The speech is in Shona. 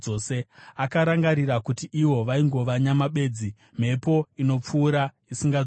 Akarangarira kuti ivo vaingova nyama bedzi, mhepo inopfuura isingadzoki.